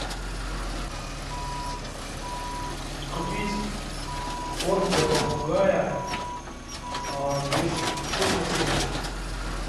купить корм для попугая без крупных семечек